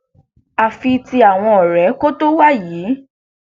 àfi tí àwọn ọrẹ tó kọ wà yìí